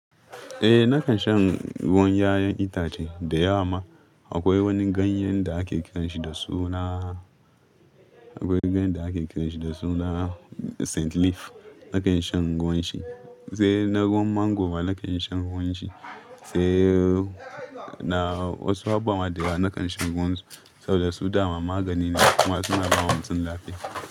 Eh, na kan shan ruwan 'ya'yan itace da yawa ma. Akwai wani ganyen da ake kiran shi da suna, akwai ganyen da ake kiran shi da suna saint leaf. Na kan shan ruwan shi, sai na ruwan mango ma na kan shan ruwan shi sai na wasu abubuwa da yawa na kan shan ruwan su saboda su dama magani ne kuma suna bawa mutum lafiya.